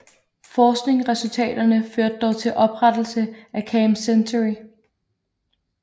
Forskningsresultaterne førte dog til oprettelse af Camp Century